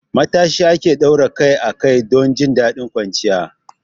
Matashi ake daura kai a kai don jin daɗin kwanciya.